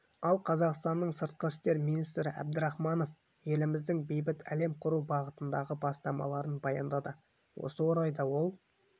ал қазақстанның сыртқы істер министрі әбдірахманов еліміздің бейбіт әлем құру бағытындағы бастамаларын баяндады осы орайда ол